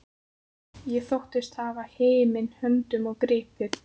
Ég þóttist hafa himin höndum gripið.